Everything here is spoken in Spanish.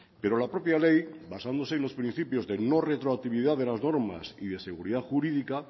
pero la propia ley basándose en los principios de no retroactividad de las normas y de seguridad jurídica